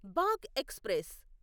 బాగ్ express